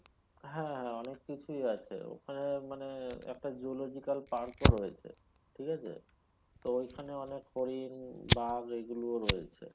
হ্যাঁ অনেক কিছুই আছে ঐখানে মানে একটা zoological park ও রয়েছে ঠিক আছে তো ঐখানে অনেক হরিণ বাঘ ঐগুলো ও রয়েছে